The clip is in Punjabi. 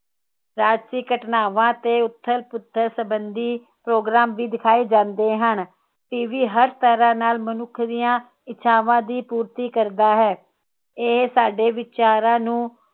ਰਾਜਸਿਕ ਘਟਨਾਵਾਂ ਦੇ ਉਥਲ ਪੁਥਲ ਸੰਬੰਧੀ ਪ੍ਰੋਗਰਾਮ ਵੀ ਦਿਖਾਏ ਜਾਂਦੇ ਹਨ। ਟੀਵੀ ਹਰ ਤਰਾਹ ਨਾਲ ਮਨੁੱਖ ਦੀਆ ਇੱਛਾਵਾਂ ਦੀ ਪੂਰਤੀ ਕਰਦਾ ਹੈ। ਇਹ ਸਾਡੇ ਵਿਚਾਰਾਂ ਨੂੰ